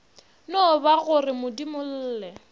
no ba go re modimolle